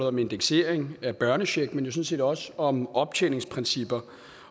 om indeksering af børnechecken men jo sådan set også om optjeningsprincipper